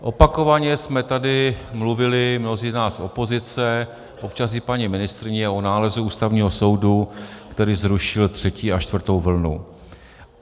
Opakovaně jsme tady mluvili, mnozí z nás, opozice, občas i paní ministryně, o nálezu Ústavního soudu, který zrušil třetí a čtvrtou vlnu.